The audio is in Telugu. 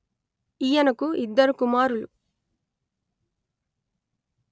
ఈయనకు ఇద్దరు కుమారులు